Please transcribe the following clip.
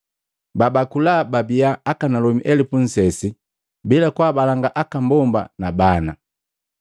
Babakula babia akanalomi elupu nsesi bila kwaabalanga aka mbomba na bana.